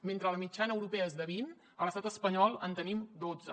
mentre la mitjana europea es de vint a l’estat espanyol en tenim dotze